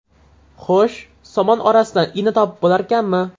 Xo‘sh, somon orasidan igna topib bo‘larkanmi?!